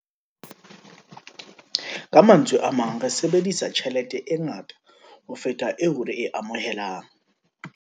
Ka mantswe a mang, re sebedisa tjhelete e ngata ho feta eo re e amohelang.